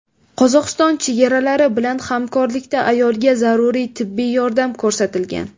Qozog‘iston chegarachilari bilan hamkorlikda ayolga zarur tibbiy yordam ko‘rsatilgan.